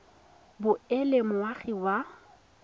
bo e le moagi wa